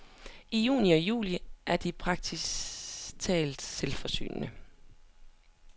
I juni og juli er de praktisk talt selvforsynende.